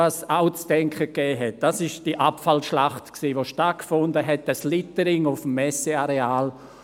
Was aber zu denken gab, war die Abfallschlacht, dieses Littering auf dem Messeareal.